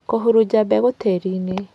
Kũhurunja mbegũ tĩri-inĩ